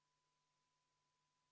Panen hääletusele 25. muudatusettepaneku.